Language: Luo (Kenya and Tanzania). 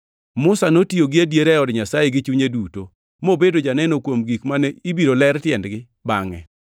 Musa notiyo gi adiera e od Nyasaye gi chunye duto, + 3:5 \+xt Kwa 12:7\+xt* mobedo janeno kuom gik mane ibiro ler tiendgi bangʼe.